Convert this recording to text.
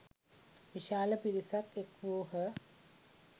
විශාල පිරිසක් එක් වූහ.